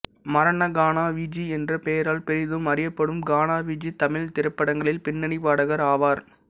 மரண கானா விஜி என்ற பெயரால் பெரிதும் அறியப்படும் கானா விஜி தமிழ்த் திரைப்படங்களில் பின்னணிப் பாடகர் ஆவார்